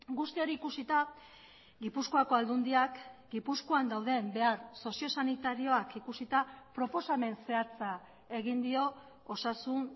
guzti hori ikusita gipuzkoako aldundiak gipuzkoan dauden behar soziosanitarioak ikusita proposamen zehatza egin dio osasun